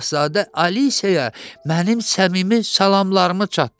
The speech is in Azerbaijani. Şahzadə Aliseyə mənim səmimi salamlarımı çatdırın.